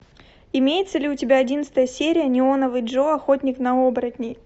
имеется ли у тебя одиннадцатая серия неоновый джо охотник на оборотней